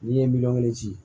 N'i ye miliyɔn kelen ci